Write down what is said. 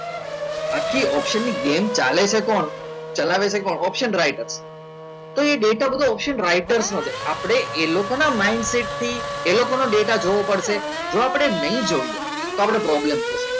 આખી option ની game ચાલે છે કોણ ચલાવે છે પણ option રાઇટર તો એ ડેટા option રાઇટર સાથે આપણે એ લોકોના mindset થી એ લોકોનો ડેટા જોવો પડશે જો આપણે નહીં જોઈએ તો આપણો problem થશે